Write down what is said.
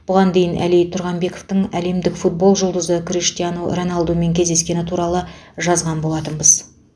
бұған дейін әли тұрғанбековтың әлемдік футбол жұлдызы криштиану роналдумен кездескені туралы жазған болатынбыз